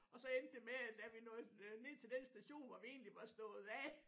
Og så endte det med at da vi nåede ned til den station hvor vi egentlig var stået af